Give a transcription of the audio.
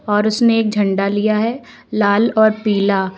और उसने एक झंडा लिया है लाल और पीला।